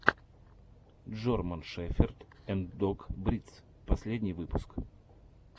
джорман шеферд анд дог бридс последний выпуск